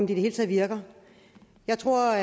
det hele taget virker jeg tror